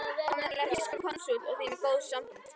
Hann var nefnilega þýskur konsúll og því með góð sambönd.